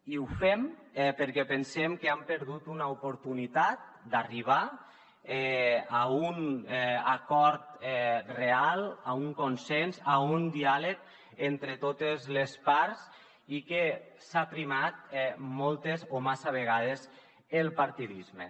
i ho fem perquè pensem que han perdut una oportunitat d’arribar a un acord real a un consens a un diàleg entre totes les parts i que s’ha primat moltes o massa vegades el partidisme